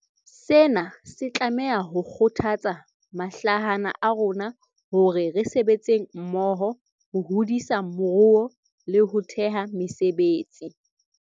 Sena se tlameha ho kgothatsa mahlahana a rona hore re sebetseng mmoho ho hodisa moruo le ho theha mesebetsi.